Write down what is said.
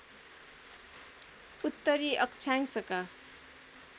उत्तरी अक्षांशका